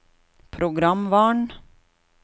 programvaren